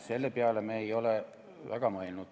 Selle peale me ei ole väga mõelnud.